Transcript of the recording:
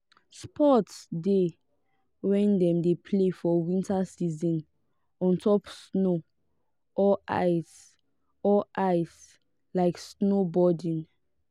sport de wey dem de play for winter season on top snow or ice or ice like snowboarding